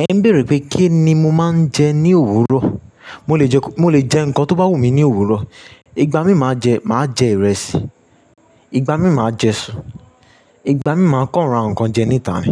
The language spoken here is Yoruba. Ẹ ń bèrè pé kí ni mo máa ń jẹ ní òwúrọ̀. Mo lè jẹ, mo lè jẹ nǹkan tó bá wù mí ní òwúrọ̀. Ìgbà mí máa jẹ, máa jẹ ìrẹsì, ìgbà mí máa jẹ isú, ìgbà mí máa kọ́ ra ǹkan jẹ níta ni.